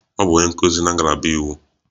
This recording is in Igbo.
Ọ bụ onye nkuzi na ngalaba iwu.